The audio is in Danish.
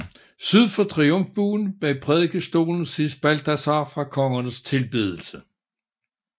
Syd for triumfbuen bag prædikestolen ses Balthasar fra Kongernes tilbedelse